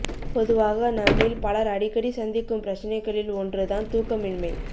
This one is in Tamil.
பொதுவாக நம்மில் பலர் அடிக்கடி சந்திக்கும் பிரச்சினைகளில் ஒன்று தான் தூக்கமின்மை